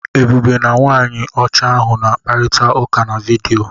Ebube na nwaanyị ọcha ahụ na-akparịta ụka na vidiyo.